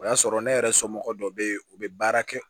O y'a sɔrɔ ne yɛrɛ somɔgɔ dɔ bɛ yen u bɛ baara kɛ